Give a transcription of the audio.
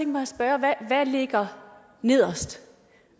mig at spørge hvad ligger nederst